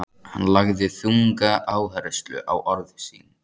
Hann lagði þunga áherslu á orð sín.